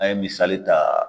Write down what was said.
An ye misali ta